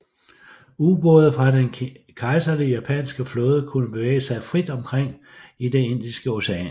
Ubåde fra den Kejserlige japanske flåde kunne bevæge sig frit omkring i det Indiske Ocean